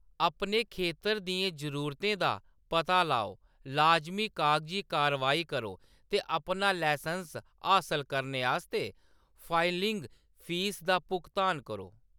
अपने खेतर दियें जरूरतें दा पता लाओ, लाजमी कागजी कार्रवाई करो ते अपना लसैंस्स हासल करने आस्तै फाइलिंग फीस दा भुगतान करो।